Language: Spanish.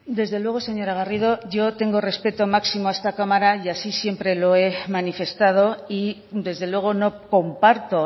desde luego señora garrido yo tengo respeto máximo a esta cámara y así siempre lo he manifestado y desde luego no comparto